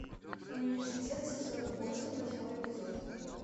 университет сезон восемь восьмой эпизод